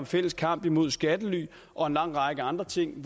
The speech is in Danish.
fælles kamp mod skattely og en lang række andre ting